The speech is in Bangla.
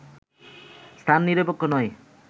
স্থান নিরপেক্ষ নয়